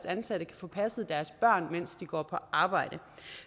ansatte kan få passet deres børn mens de går på arbejde